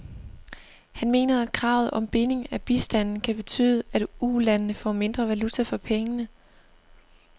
Han mener, at kravet om binding af bistanden kan betyde, at ulandene får mindre valuta for pengene.